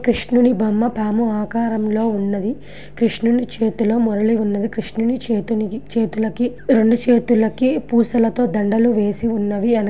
కృష్ణుని బొమ్మ పాము ఆకారంలో ఉన్నది. కృష్ణుని చేతిలో మురళి ఉన్నది. కృష్ణుని చేతులకి చేతులకి రెండు చేతులకి పూసలతో దండలు వేసి ఉన్నవి---